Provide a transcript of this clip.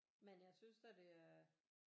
Men jeg synes da det er